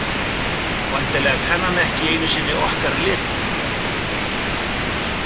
Væntanlega kann hann ekki einu sinni okkar letur.